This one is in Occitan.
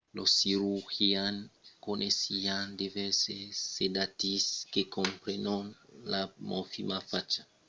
los cirurgians coneissián divèrses sedatius que comprenon la morfina facha d'extractes de granas de pavòt e l'escopolamina de las granas de jusquiam